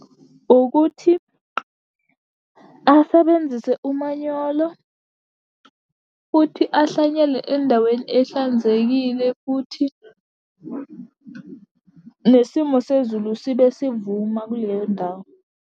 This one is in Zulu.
Ukuthi asebenzise umanyolo, futhi ahlanyele endaweni ehlanzekile, futhi nesimo sezulu sibe sivuma kuleyo ndawo.